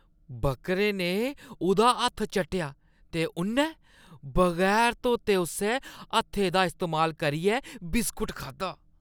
बक्करे ने उʼदा हत्थ चट्टेआ ते उʼन्नै बगैर धोते उस्सै हत्थै दा इस्तेमाल करियै बिस्कुट खाद्धा।